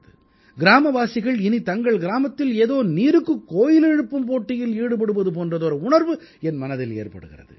கிராமவாசிகள் இனி தங்கள் கிராமத்தில் ஏதோ நீருக்குக் கோயில் எழுப்பும் போட்டியில் ஈடுபடுவது போன்றதொரு உணர்வு என் மனதில் ஏற்படுகிறது